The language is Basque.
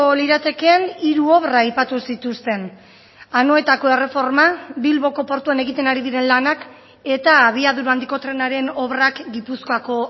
liratekeen hiru obra aipatu zituzten anoetako erreforma bilboko portuan egiten ari diren lanak eta abiadura handiko trenaren obrak gipuzkoako